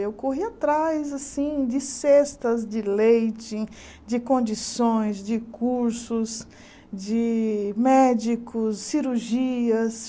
Eu corri atrás assim de cestas, de leite, de condições, de cursos, de médicos, cirurgias.